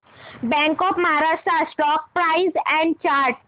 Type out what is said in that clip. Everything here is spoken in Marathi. bank of Maharashtra stock price and chart